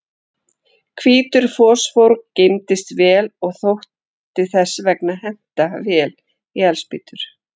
Hvítur fosfór geymdist vel og þótti þess vegna henta vel í eldspýtur.